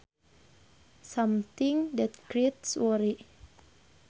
Something that creates worry